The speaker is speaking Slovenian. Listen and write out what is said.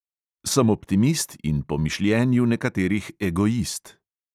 Sem optimist in po mišljenju nekaterih egoist.